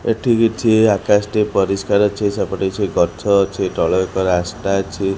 ଏଠି କିଛି ଆକାଶଟି ପରିଷ୍କାର ଅଛି ସେପଟେ କିଛି ଗଛ ଅଛି ତଳେ ଏକ ରାସ୍ତା ଅଛି।